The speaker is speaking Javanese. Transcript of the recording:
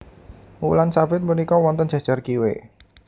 Wulan sabit punika wonten jejer kiwe